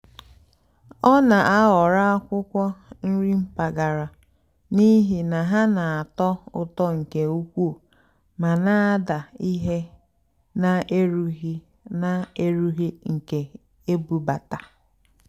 ọ́ nà-àhọ̀rọ́ ákwụ́kwọ́ nrì mpàgàrà n'ìhì ná hà nà-àtọ́ ụ́tọ́ nkè ùkwúù mà nà-àdá íhé nà-èrúghì́ nà-èrúghì́ nkè ébúbátá.